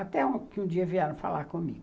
Até que um dia vieram falar comigo.